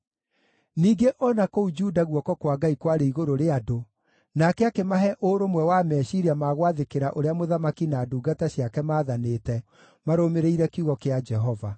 Ningĩ o na kũu Juda guoko kwa Ngai kwarĩ igũrũ rĩa andũ, nake akĩmahe ũrũmwe wa meciiria ma gwathĩkĩra ũrĩa mũthamaki na ndungata ciake maathanĩte, marũmĩrĩire kiugo kĩa Jehova.